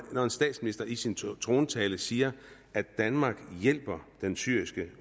når en statsminister i sin trontale siger at danmark hjælper den syriske